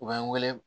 U b'an wele